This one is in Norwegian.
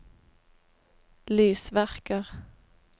lysverker